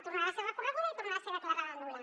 tornarà a ser recorreguda i tornarà a ser declarada nul·la